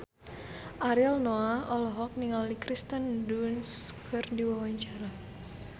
Ariel Noah olohok ningali Kirsten Dunst keur diwawancara